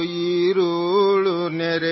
ನಿದ್ರಾದೇವಿ ಬರುತ್ತಾಳೆ ತಾರೆಗಳ ತೋಟದಿಂದ